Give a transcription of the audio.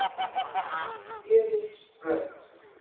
Héðinsbraut